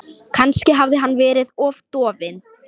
Kannski hafði hann verið of dofinn.